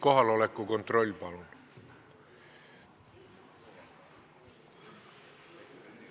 Kohaloleku kontroll, palun!